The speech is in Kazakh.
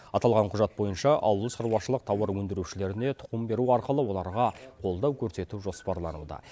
аталған құжат бойынша ауылшаруашылық тауар өндірушілеріне тұқым беру арқылы оларға қолдау көрсету жоспарлануда